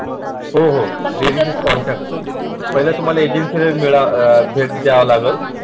हो हो contact पहिल तुम्हारा agency ला भेट द्यावा लागे